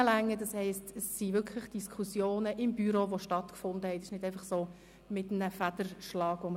Wir haben uns im Büro wirklich Gedanken zur Traktandenliste gemacht und diese nicht einfach so beschossen.